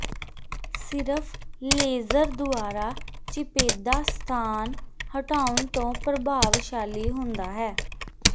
ਸਿਰਫ ਲੇਜ਼ਰ ਦੁਆਰਾ ਚਿਪੇਦਾ ਸਥਾਨ ਹਟਾਉਣ ਤੋਂ ਪ੍ਰਭਾਵਸ਼ਾਲੀ ਹੁੰਦਾ ਹੈ